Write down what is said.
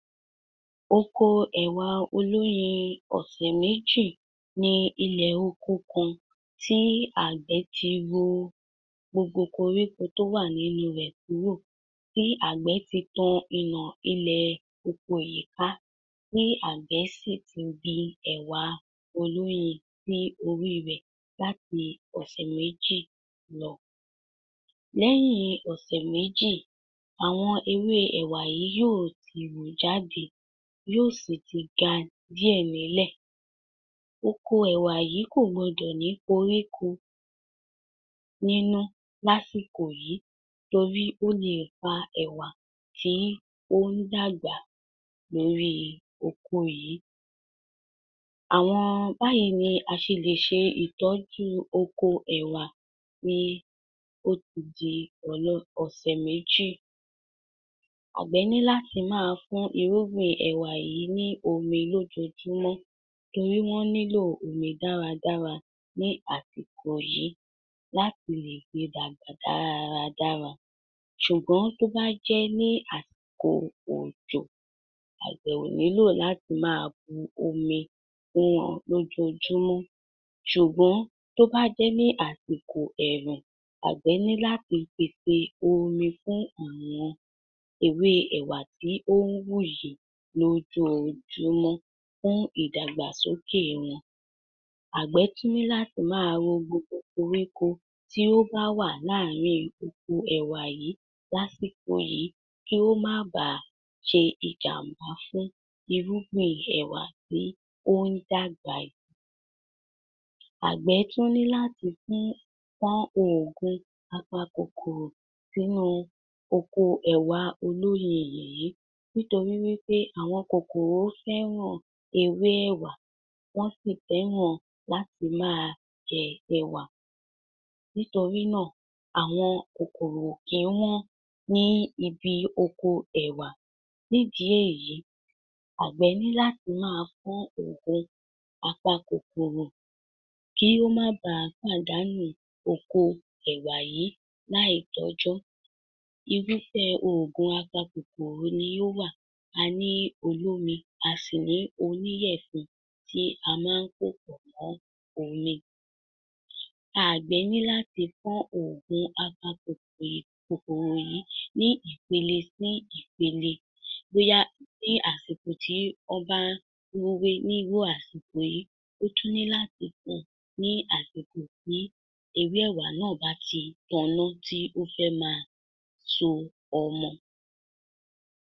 Oko ẹ̀wà olóyin ọ̀sẹ̀méjì ní ilẹ̀ oko kan tí àgbẹ̀ ti ro gbogbo koríko tó wà nínú rẹ̀ kúrò, tí àgbẹ̀ ti tan ina ilẹ̀ oko yí ká, tí àgbẹ̀ sì ti gbin ẹ̀wà olóyin sí orí rẹ̀ láti òsẹ̀méjì lọ. Lẹ́yìn òsẹ̀méjì, àwọn ewé ẹ̀wà yí yóò ti wú jáde, yóò síi ti ga díẹ̀ ní lẹ̀. Oko ẹ̀wà yí kò gbọdọ̀ ní koríko nínú l'́ásìkò yí torí ó lè pa ẹ̀wà tí ó n dàgbà lórí oko yí. Àwọn... báàyí ni a se lè se ìtọ́jú oko ẹ̀wà tí ó ti di ọ̀sẹ̀ méjì. Àgbẹ̀ ní láti máa fún irúgbìn ẹ̀wà yí ní omi lójojúmọ́ torí wọ́n nílò omi dára dára ní àsìkò yí, láti le fi dàgbà dára dára. Sùgbọ́n tó bá jẹ́ ní àsìkò òjò, àgbẹ̀ ò nílò láti máa bu omi fún wọn lójojúmó. Sùgbọ́n tó bá jẹ́ ní àsìkò ẹ̀rùn, àgbẹ̀ nílá ti pèsè omi fún àwọn ewé ẹ̀wà tí ó nwùyí lójojúmọ́ fún ìdàgbàsókè wọn. Àgbẹ̀ tún ní láti máa ro gbogbo koríko tí ó bá wà láarín oko ẹ̀wà yí l'ásìkò yí kí ó má baà se ìjàmbá fún irúgbìn ẹ̀wà tí ó n dàgbà yí. Àgbẹ̀ tún ní láti fọ́n òògùn apa kòkòrò sínú oko ẹ̀wà olóyin yìí nítorí wípé àwọn kòkòrò fẹ́ràn ewé ẹ̀wà, wọ́n sì fẹ́ràn láti máa jẹ ẹ̀wà. Nítorínà, àwọn kòkòrò kìí wọ́n ní ibi oko ẹ̀wà. Nídìí èyí, àgbẹ̀ ní láti máa fọ́n òògùn apa kòkòrò kí ó ma baà pàdánù oko ẹ̀wà yìí láìtọ́jọ́, irúfẹ́ ògùn apa kòkòrò ni ó wà. A ní olómi a sì ní oníyẹ̀fun tí a má npòpọ̀ mọ́ omi. Àgbẹ̀ ní láti fọ́n òògùn apa kòkòr̀o yìí nì ìpéle sí ìpéle, bóyá ní àsìkò tí ó bá nrúwé nírú àsìkò yìí. Ó tún ní láti fọ́n ní àsìkò tí ewé ẹ̀wà náà bá tí t'ọná tí ó fẹ máa so ọmọ.